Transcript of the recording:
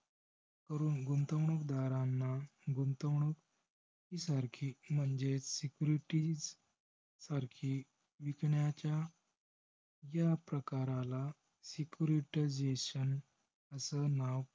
गुंतवणूकदारांना गुंतवणूक सारखी म्हणजे securities अर्थी विकण्याच्या या प्रकराला security jayson असं नाव